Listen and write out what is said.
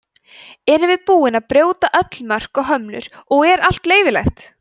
erum við búin að brjóta öll mörk og hömlur og er allt leyfilegt